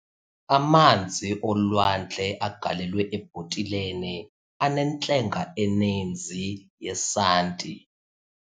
Amanzi olwandle agalelwe ebhotileni anentlenga eninzi yesanti.